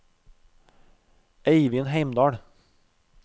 Eivind Heimdal